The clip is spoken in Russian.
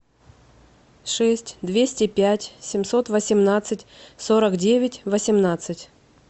шесть двести пять семьсот восемнадцать сорок девять восемнадцать